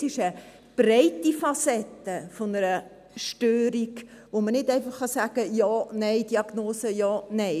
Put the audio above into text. Es ist eine breite Facette einer Störung, bei der man nicht einfach sagen kann, Ja/Nein, Diagnose Ja/Nein.